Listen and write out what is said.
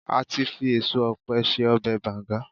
ati fi eso òpe se ọbè bangan